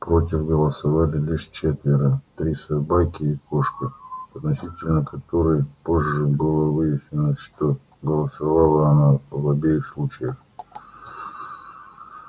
против голосовали лишь четверо три собаки и кошка относительно которой позже было выяснено что голосовала она в обеих случаях